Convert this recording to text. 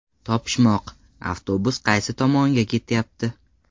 Topishmoq: Avtobus qaysi tomonga ketyapti?.